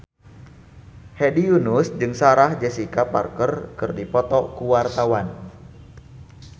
Hedi Yunus jeung Sarah Jessica Parker keur dipoto ku wartawan